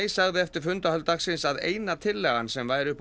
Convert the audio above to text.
sagði eftir fundahöld dagsins að eina tillagan sem væri uppi á